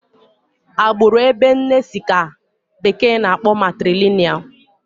Agbụrụ ebe nne si ka bekee na-akpọ matrilinịal